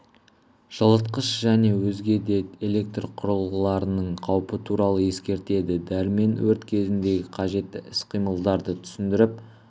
жылытқыш және өзге де электр құрылғыларының қаупі туралы ескертеді дәрмен өрт кезіндегі қажетті іс-қимылдарды түсіндіріп